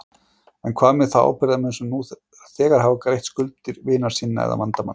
En hvað með þá ábyrgðarmenn sem nú þegar hafa greitt skuldir vina sinna eða vandamann?